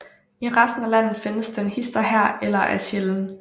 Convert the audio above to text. I resten af landet findes den hist og her eller er sjælden